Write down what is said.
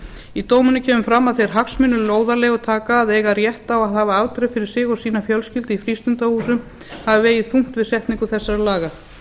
í dóminum kemur fram að þeir hagsmunir lóðarleigutaka að eiga rétt á að hafa aldrei fyrir sig og sína fjölskyldu í frístundahúsum hafi vegið þungt við setningu þessara laga